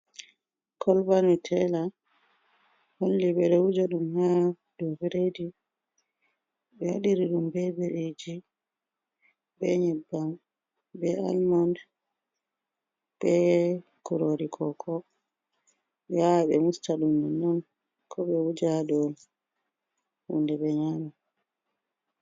Kolba nuteela, holli ɓe ɗo wuja ɗum haa dow biredi, ɓe waɗiri ɗum be biriiji, be nyebbam, be almond, be kuroori kooko. Ɓe waawai ɓe musta ɗum nonnon, ko ɓe wuja ha dow hunde ɓe nyaama.